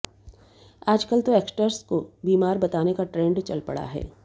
आजकल तो एक्टर्स को बीमार बताने का ट्रेंड चल पड़ा है